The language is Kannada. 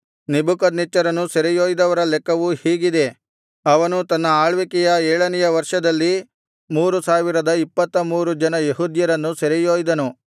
ನೆಬೂಕದ್ನೆಚ್ಚರನು ಸೆರೆಯೊಯ್ದವರ ಲೆಕ್ಕವು ಹೀಗಿದೆ ಅವನು ತನ್ನ ಆಳ್ವಿಕೆಯ ಏಳನೆಯ ವರ್ಷದಲ್ಲಿ ಮೂರು ಸಾವಿರದ ಇಪ್ಪತ್ತ ಮೂರು ಜನ ಯೆಹೂದ್ಯರನ್ನು ಸೆರೆಯೊಯ್ದನು